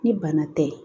Ni bana tɛ